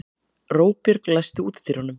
Róbjörg, læstu útidyrunum.